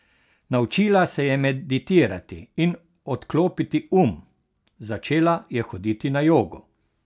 Naučila se je meditirati in odklopiti um, začela je hoditi na jogo.